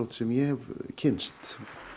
sem ég hef kynnst